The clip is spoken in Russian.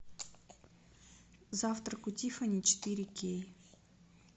завтрак у тиффани четыре кей